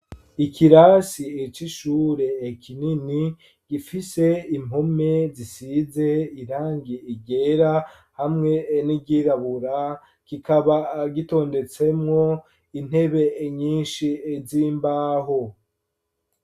Ikirasi eco ishure ekinini gifise impome zisize irangi igera hamwe nigirabura gikaba gitondetsemwo intebe nyinshi zimbaho.